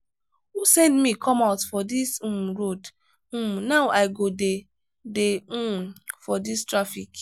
who send me come out for dis um road? um now i go dey dey um for dis traffic.